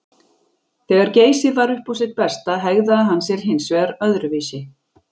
Þegar Geysir var upp á sitt besta hegðaði hann sér hins vegar öðruvísi.